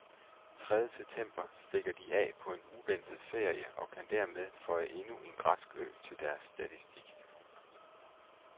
Tredje september stikker de af på en uventet ferie og kan dermed føje endnu en græsk ø til deres statistik.